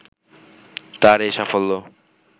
তার এ সাফল্য